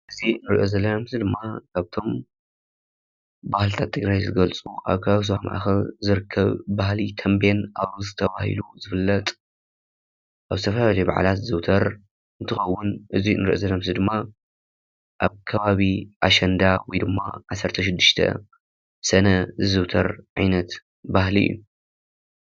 እዚ እንሪኦ ዘለና ድማ ካብቶም ባህልታት ትግራይ ዝገልፁ ኣብ ከባቢ ዞባ ማእከል ዝርከብ ባህሊ ተምቤን አውርስ ተባሂሉ ዝፍለጥ ኣብ ዝተፈላለየ በዓላት ዝዝውተር እንትኸውን እዚ ንሪኦ ዘለና ምስሊ ኣከባቢ ኣሸንዳ ወይ ድማ 16 ሰነ ዝዝውተር ዓይነት ባህሊ እዩ፡፡